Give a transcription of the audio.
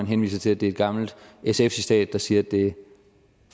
henviser til at det er et gammelt sf citat der siger at det